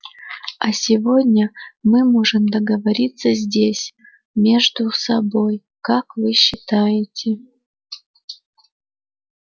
а сегодня мы можем договориться здесь между собой как вы считаете